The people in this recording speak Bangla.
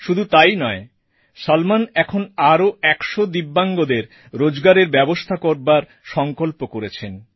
শুধু তাইই নয় সলমন এখন আরও ১০০ দিব্যাঙ্গদের রোজগারের ব্যবস্থা করবার সংকল্প করেছেন